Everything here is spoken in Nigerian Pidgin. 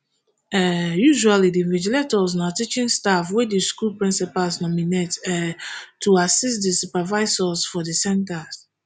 um usually di invigilators na teaching staff wey di school principals nominate um to assist di supervisors for di centres